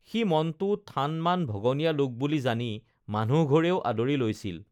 সি মনটো থান মান ভগনীয়া লোক বুলি জানি মানুহঘৰেও আদৰি লৈছিল